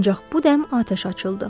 Ancaq bu dəm atəş açıldı.